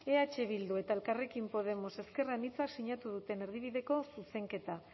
eh bildu eta elkarrekin podemos ezker anitzak sinatu duten erdibideko zuzenketa